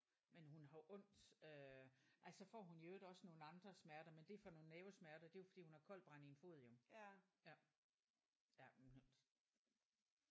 Men hun har jo ondt øh ej så får hun i øvrigt også nogle andre smerter men det er for nogle nervesmerter det er jo fordi hun har koldbrand i en fod jo ja ja men hun har ondt